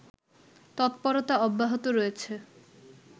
তৎপরতা অব্যাহত রয়েছে